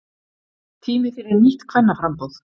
Tími fyrir nýtt kvennaframboð